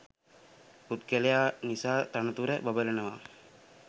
පුද්ගලයා නිසා තනතුර බබලනවා